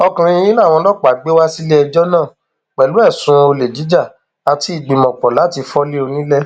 ọkùnrin yìí làwọn ọlọpàá gbé wá síléẹjọ náà pẹlú ẹsùn olè jíjà àti ìgbìmọpọ láti fọlé onílẹ